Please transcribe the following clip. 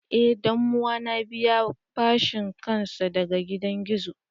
Eh danuwa na be ya fashe kansa daga gidan gizo.